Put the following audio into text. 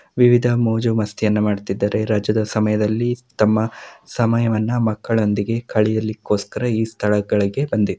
ವಿವಿಧ ಮೋಜುಮಸ್ತಿಯನ್ನ ಮಾಡುತ್ತಿದ್ದಾರೆ. ರಜಾದ ಸಮಯದಲ್ಲಿ ತಮ್ಮ ಸಮಯವನ್ನು ಮಕ್ಕಳೊಂದಿಗೆ ಕಳಿಯಲಿಕೋಸ್ಕರ ಈ ಸ್ಥಳಗಳಿಗೆ ಬಂದಿ --